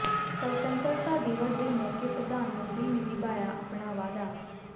ਸਵਤੰਤਰਤਾ ਦਿਵਸ ਦੇ ਮੌਕੇ ਪ੍ਰਧਾਨ ਮੰਤਰੀ ਨੇ ਨਿਭਾਇਆ ਆਪਣਾ ਵਾਅਦਾ